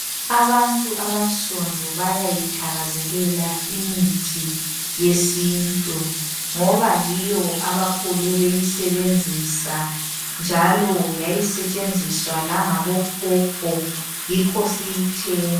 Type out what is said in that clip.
Abantu abansundu bayayithakazelela imithi yesintu ngoba yiyo abakhule beyisebenzisa njalo yayisetshenziswa langabokhokho yikho siyithe.